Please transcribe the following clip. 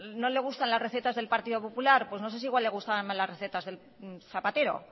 no le gustan las recetas del partido popular pues no sé si le gustarán más las recetas de zapatero